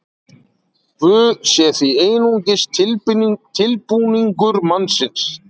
guð sé því einungis tilbúningur mannsins